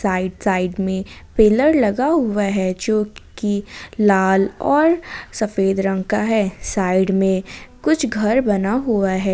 Side side में pillar लगा हुआ है जो की लाल और सफेद रंग का है साइड में कुछ घर बना हुआ है।